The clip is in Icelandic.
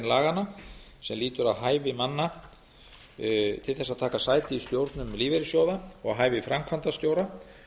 laganna sem lýtur að hæfi manna til þess að taka sæti í stjórnum lífeyrissjóða og hæfi framkvæmdastjóra